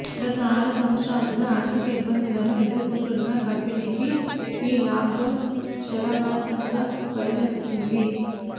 గత ఆరు సంవత్సరాలుగా ఆర్ధిక ఇబ్బందులను ఎదుర్కొంటున్న కంపెనీకి ఈ లాక్ డౌన్ శరాఘాతంగా పరిణమించింది